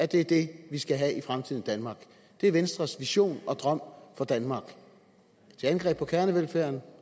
det er det vi skal have i fremtiden i danmark det er venstres vision og drøm for danmark til angreb på kernevelfærden